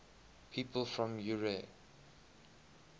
people from eure